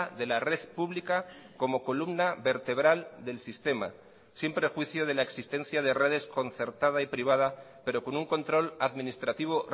de la red pública como columna vertebral del sistema sin prejuicio de la existencia de redes concertada y privada pero con un control administrativo